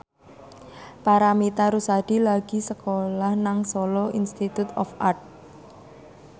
Paramitha Rusady lagi sekolah nang Solo Institute of Art